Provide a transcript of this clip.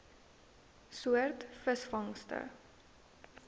soort visvangste